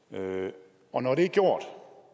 og at når det er gjort